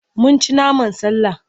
Mun ci naman sallah.